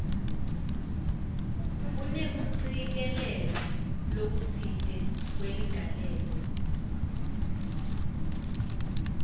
kunekucikelela lokutsite kweligalelo